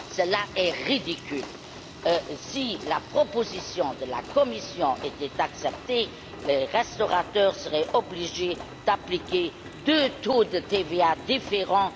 Cela est ridicule. Si la proposition de la Commission était acceptée, les restaurateurs seraient obligés d'appliquer deux taux de TVA différents.